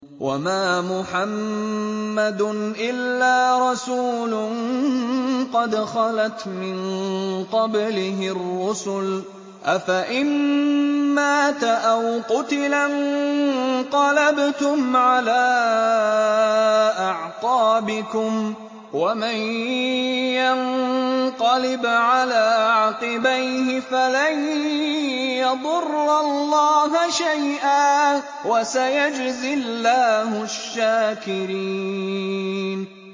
وَمَا مُحَمَّدٌ إِلَّا رَسُولٌ قَدْ خَلَتْ مِن قَبْلِهِ الرُّسُلُ ۚ أَفَإِن مَّاتَ أَوْ قُتِلَ انقَلَبْتُمْ عَلَىٰ أَعْقَابِكُمْ ۚ وَمَن يَنقَلِبْ عَلَىٰ عَقِبَيْهِ فَلَن يَضُرَّ اللَّهَ شَيْئًا ۗ وَسَيَجْزِي اللَّهُ الشَّاكِرِينَ